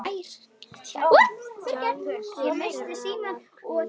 Tjaldið þeirra var hvítt.